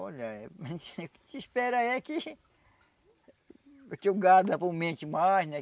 Olha, o que se se espera é que... que o gado aumente mais, né?